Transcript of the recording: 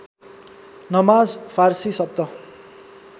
नमाज फारसी शब्द